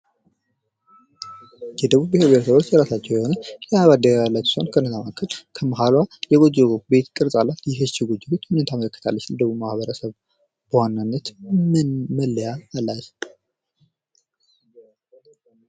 የደቡብ ብሄር ብሄረሰቦች የራሳቸው የሆነ ባንዲራ ያላቸው ሲሆን ከነዚህ መካከል ከመሀልዋ የጎጆ ቤት ቅርጽ አላት ይህቺ የጎጆ ቤት ምንን ታመለከታለች? ለደቡብ ማህበረሰብ በዋናነት ምን መለያ አለት?